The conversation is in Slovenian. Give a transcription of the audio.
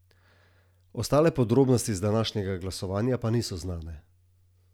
Ostale podrobnosti z današnjega glasovanja pa niso znane.